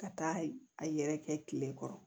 Ka taa a yɛrɛkɛ kile kɔrɔ